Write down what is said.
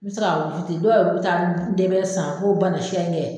N bɛ se ka dɔw yɛrɛ bɛ taa ndɛbɛ san fo